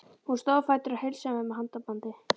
Hún stóð á fætur og heilsaði mér með handabandi.